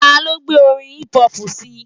Ta ló gbé orin hip-hop síi?